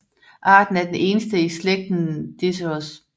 Arten er den eneste i slægten Diceros